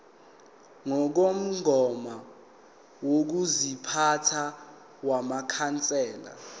ngokomgomo wokuziphatha wamakhansela